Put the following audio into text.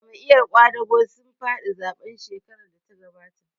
Jam'iyar ƙwadago sun faɗi zaɓen shekarar da ta gabata